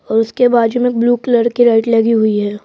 और उसके बाजू में एक ब्लू कलर की लाइट लगी हुई है।